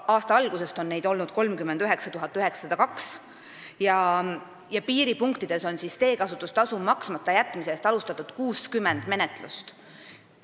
Aasta algusest on neid olnud 39 902 ja piiripunktides on teekasutustasu maksmata jätmise eest alustatud 60 menetlust.